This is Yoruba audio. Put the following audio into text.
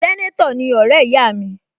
Sẹ́nétọ̀ ni ọ̀rẹ́ ìyá mi